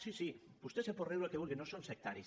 sí sí vos·tè se pot riure el que vulgui no som sectaris